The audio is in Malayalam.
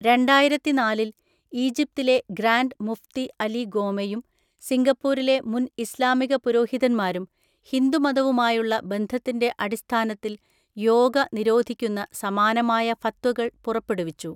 രണ്ടായിരത്തിനാലിൽ ഈജിപ്തിലെ ഗ്രാൻഡ് മുഫ്തി അലി ഗോമയും സിംഗപ്പൂരിലെ മുൻ ഇസ്ലാമിക പുരോഹിതന്മാരും ഹിന്ദുമതവുമായുള്ള ബന്ധത്തിൻ്റെ അടിസ്ഥാനത്തിൽ യോഗ നിരോധിക്കുന്ന സമാനമായ ഫത്വകൾ പുറപ്പെടുവിച്ചു.